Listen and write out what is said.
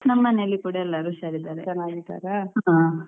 ನಮ್ಮನೆಯಲ್ಲಿ ಕೂಡ ಎಲ್ಲರು ಹುಷಾರಿದ್ದಾರೆ ಹಾ.